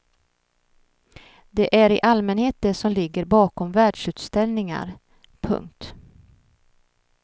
Det är i allmänhet det som ligger bakom världsutställningar. punkt